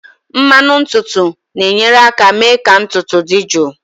Mmanụ ntutu na-enyere aka mee ka ntutu dị jụụ